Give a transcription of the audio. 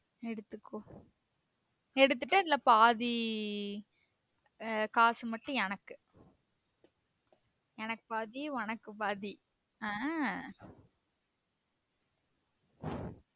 எடுத்துக்கோ எடுத்திட்டு அதுல பாதி காசு மட்டும் எனக்கு எனக்கு பாதி உனக்கு பாதி ஆஹ்